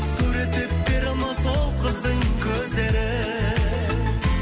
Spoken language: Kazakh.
суреттеп бере алмас ол қыздың көздерін